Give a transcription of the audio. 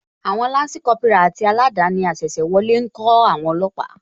Àwon Lansi Kópírà àti aladani asese wọlé ńkó àwon olóòpà